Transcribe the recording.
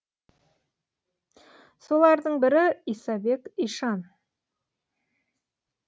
солардың бірі исабек ишан